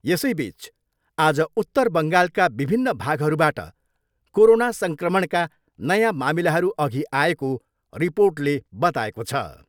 यसैबिच आज उत्तर बङ्गालका विभिन्न भागहरूबाट कोरोना सङ्क्रमणका नयाँ मामिलाहरू अघि आएको रिपोर्टले बताएको छ।